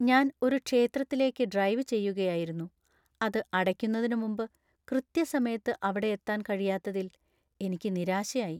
ഞാൻ ഒരു ക്ഷേത്രത്തിലേക്ക് ഡ്രൈവ് ചെയ്യുകയായിരുന്നു, അത് അടയ്ക്കുന്നതിന് മുമ്പ് കൃത്യസമയത്ത് അവിടെ എത്താൻ കഴിയാത്തതിൽ എനിക്ക് നിരാശയായി .